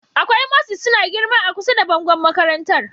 Akwai mosses suna girma a kusa da bangon makarantar